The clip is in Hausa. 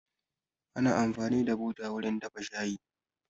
Ana amfani da buta wurin dafa shayi